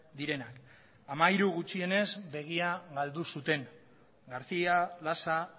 direnak hamairu gutxienez begia galdu zuten garcía lasa